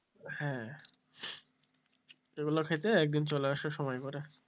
হ্যাঁ এগুলো খেতে একদিন চলে এসো সময় করে।